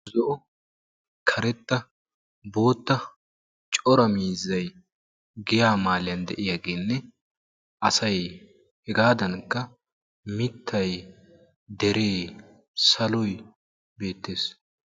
Karetta bootta cora miizzay giyaa maaliyaa de'iyaageenne asay hegadankka mittay dere saloy beettees.